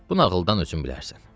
Bu nağıldan ötrü bilərsən.